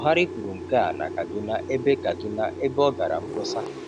Buhari kwuru nke a na Kaduna ebe Kaduna ebe ọ gara mkpọsa.